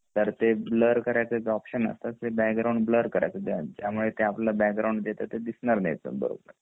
तं ते background blur करायचं त्यामुळे जे आपल्या बॅकग्राऊंड ला जे येत ते दिसणार नाही